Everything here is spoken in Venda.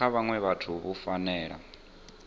kha vhaṅwe vhathu vhu fanela